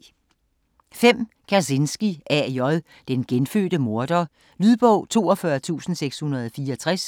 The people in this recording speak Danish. Kazinski, A. J.: Den genfødte morder Lydbog 42664